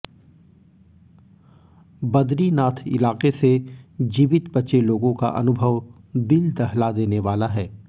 बदरीनाथ इलाके से जीवित बचे लोगों का अनुभव दिल दहला देने वाला है